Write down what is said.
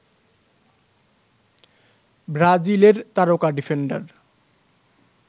ব্রাজিলের তারকা ডিফেন্ডার